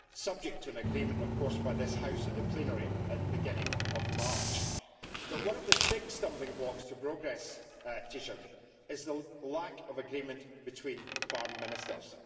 subject to an agreement by this House in the plenary at the beginning of March. But one of the big stumbling blocks to progress is the lack of agreement between farm ministers.